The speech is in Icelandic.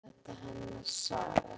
Vitanlega sé þetta hennar saga.